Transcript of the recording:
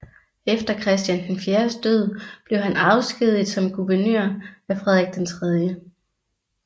Etter Christian IVs død blev han afskediget som guvernør af Frederik III